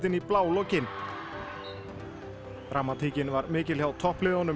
í blálokin dramatíkin var mikil hjá toppliðunum